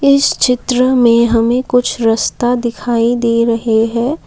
इस चित्र में हमें कुछ रस्ता दिखाई दे रहे हैं।